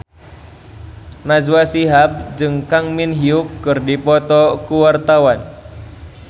Najwa Shihab jeung Kang Min Hyuk keur dipoto ku wartawan